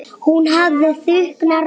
Hún hafði þunga rödd.